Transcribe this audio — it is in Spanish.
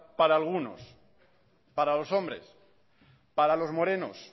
para algunos para los hombres para los morenos